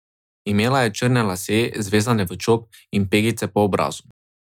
Imela je črne lase, zvezane v čop, in pegice po obrazu.